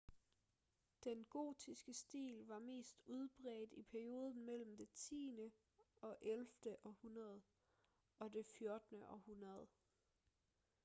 den gotiske stil var mest udbredt i perioden mellem det 10.-11. århundrede og det 14. århundrede